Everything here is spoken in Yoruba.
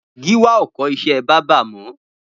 Giwa ó kọ iṣẹ̀ bàbà mọ